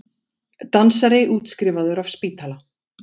Dansari útskrifaður af spítala